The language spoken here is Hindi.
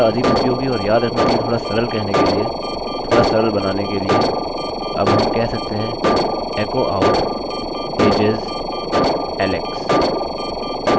और इसे थोडा अधिक उपयोगी और याद रखने के लिए थोड़ा सरल कहने के लिए थोड़ा सरल बनाने के लिए अब हम कह सकते हैं echo out ages alex इस तरह